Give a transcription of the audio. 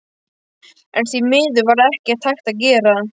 En því miður var ekkert hægt að gera.